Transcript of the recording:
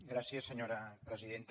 gràcies senyora presidenta